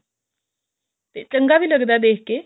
ਤੇ ਚੰਗਾ ਵੀ ਲੱਗਦਾ ਦੇਖ ਕੇ